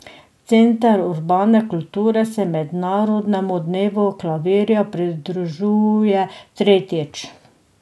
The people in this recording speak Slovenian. Center urbane kulture se mednarodnemu dnevu klavirja pridružuje tretjič.